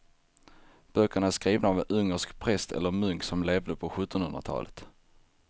Böckerna är skrivna av en ungersk präst eller munk som levde på sjuttonhundratalet.